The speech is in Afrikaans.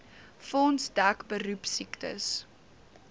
fonds dek beroepsiektes